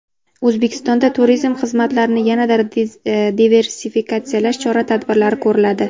O‘zbekistonda turizm xizmatlarini yanada diversifikatsiyalash chora-tadbirlari ko‘riladi.